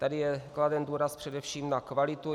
Tady je kladen důraz především na kvalitu.